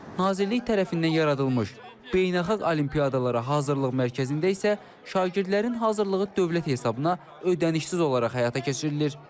Nazirlik tərəfindən yaradılmış beynəlxalq olimpiyadalara hazırlıq mərkəzində isə şagirdlərin hazırlığı dövlət hesabına ödənişsiz olaraq həyata keçirilir.